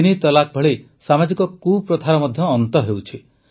ତିନି ତଲାକ୍ ଭଳି ସାମାଜିକ କୁପ୍ରଥାର ଅନ୍ତ ମଧ୍ୟ ହେଉଛି